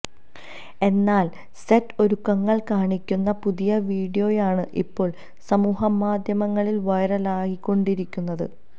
എന്നാൽ സെറ്റ് ഒരുക്കങ്ങൾ കാണിക്കുന്ന പുതിയ വീഡിയോയാണ് ഇപ്പോൾ സമൂഹ മാധ്യമങ്ങളിൽ വൈറലായിക്കൊണ്ടിരിക്കുന്നത്